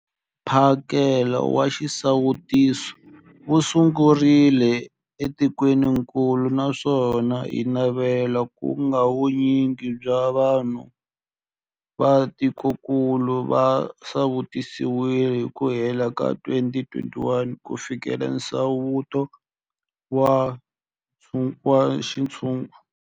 Mphakelo wa xisawutisi wu sungurile etikwenikulu naswona hi navela ku va vu nyingi bya vanhu va tikokulu va sawutisiwile hi ku hela ka 2021 ku fikelela nsawuto wa xintshungu.